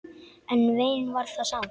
En vein var það samt.